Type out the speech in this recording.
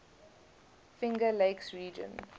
finger lakes region